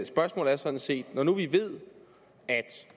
spørgsmål er sådan set når nu vi ved at